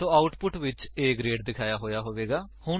ਸੋ output ਵਿੱਚ A grade ਦਿਖਾਇਆ ਹੋਇਆ ਹੋਵੇਗਾ